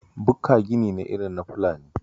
Bukka gini ne irin na Fulani